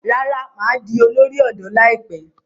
Rárá, mà á di olórí ọ̀dọ́ láìpẹ́.